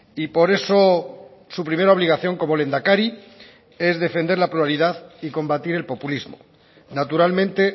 y por eso su primera obligación como lehendakari es defender la pluralidad y combatir el populismo naturalmente